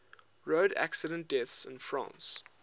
road accident deaths in france